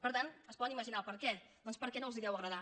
per tant es poden imaginar el perquè doncs perquè no els deu agradar